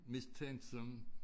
Mistænksomme